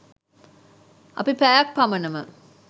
අපි පැයක් පමණම